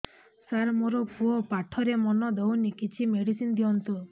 ସାର ମୋର ପୁଅ ପାଠରେ ମନ ଦଉନି କିଛି ମେଡିସିନ ଦିଅନ୍ତୁ